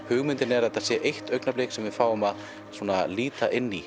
hugmyndin er að þetta sé eitt augnablik sem við fáum að líta inn í